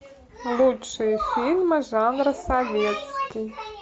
лучшие фильмы жанра советский